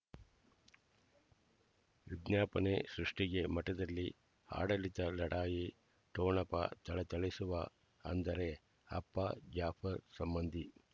ವಿಜ್ಞಾಪನೆ ಸೃಷ್ಟಿಗೆ ಮಠದಲ್ಲಿ ಆಡಳಿತ ಲಢಾಯಿ ಠೊಣಪ ಥಳಥಳಿಸುವ ಅಂದರೆ ಅಪ್ಪ ಜಾಫರ್ ಸಂಬಂಧಿ